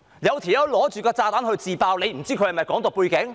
如果有人手持炸彈自爆，你會不清楚他有否"港獨"背景？